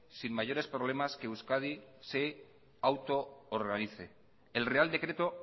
sin mayores problemas que euskadi se auto organice el real decreto